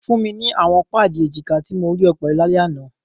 Fun mi awọn paadi ejika ti mo rii ọ pẹlu lalẹ ana!